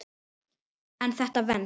En þetta venst.